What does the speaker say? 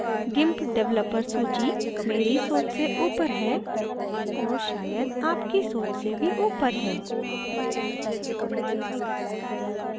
gimp developer सूची मेरी सोच से ऊपर है और शायद आपकी सोच से भी ऊपर है